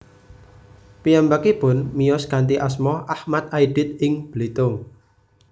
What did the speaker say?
Piyambakipun miyos kanthi asma Achmad Aidit ing Belitung